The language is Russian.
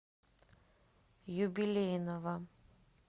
юбилейного